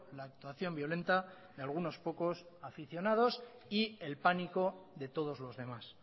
la actuación violenta de algunos pocos aficionados y el pánico de todos los demás